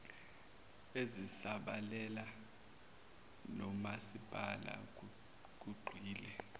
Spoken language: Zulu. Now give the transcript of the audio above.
ezisabalele nomasipala kugxile